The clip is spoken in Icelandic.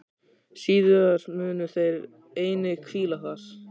Síðar munu þeir einnig hvíla þar.